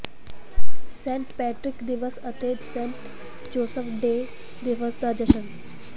Saint Patrick ਦਿਵਸ ਅਤੇ saint Joseph day ਦਿਵਸ ਦਾ ਜਸ਼ਨ